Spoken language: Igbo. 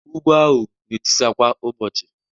Ugwu ahụ na-etisa kwa ụbọchị